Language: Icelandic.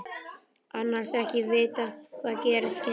Annars ekki að vita hvað gerast kynni.